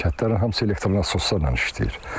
Bu kəndlərin hamısı elektroslarla işləyir.